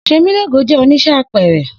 Semilogo jẹ onise apẹẹrẹ.